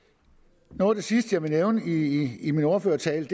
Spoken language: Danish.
noget af det sidste jeg vil nævne i i min ordførertale